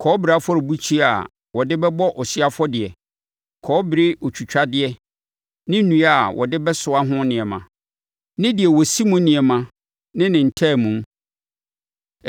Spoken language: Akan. kɔbere Afɔrebukyia a wɔde bɛbɔ ɔhyeɛ afɔdeɛ, kɔbere otwitwadeɛ ne nnua a wɔde bɛsoa ho nneɛma, ne deɛ wɔsi mu nneɛma ne ne ntaamu,